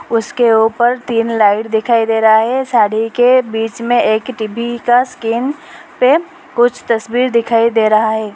उसके ऊपर तीन लाइट दिखाई दे रहा है साड़ी के बीच में एक टी_वी का स्क्रीन पे कुछ तस्वीर दिखाई दे रहा है।